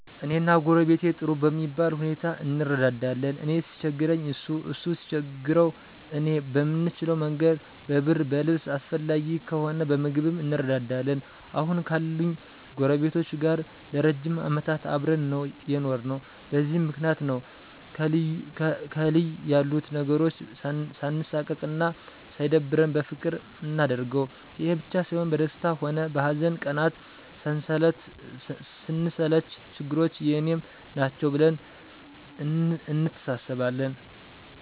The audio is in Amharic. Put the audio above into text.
እኔና ጎረቤቴ ጥሩ በሚባል ሁኔታ እንረዳዳለን። እኔ ሲቸግረኝ እሱ እሱ ሲቸግረው እኔ በምንችለ መንገድ በብር በልብስ አስፈላጊ ከሆነ በምግብም እንረዳዳለን። አሁን ካሉኝ ጎረቤቶቼ ጋር ለ ረጅም አመታት አብረን ነው የኖርነው። በዚህም ምክንያት ነው ከልይ ያሉት ነገሮች ሳንሳቀቅ አና ሳይደብረን በፍቅር ምናደርገው። ይሄ ብቻ ሳይሆን በደስታ ሆነ በሀዘን ቀናት ስንሰለች ችግሮቹ የኔም ናቸው ብለን እንተሳሰባለን።